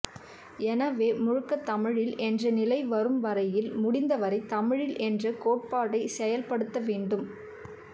எனவே முழுக்கத் தமிழில் என்ற நிலை வரும் வரையில் முடிந்த வரை தமிழில் என்ற கோட்பாட்டைச் செயல் படுத்த வேண்டும்